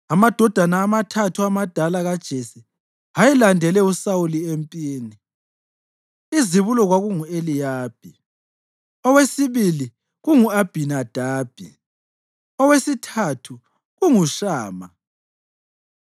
Amadodana amathathu amadala kaJese ayelandele uSawuli empini: Izibulo kwakungu-Eliyabi; owesibili kungu-Abhinadabi; owesithathu kunguShama.